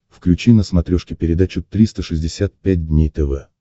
включи на смотрешке передачу триста шестьдесят пять дней тв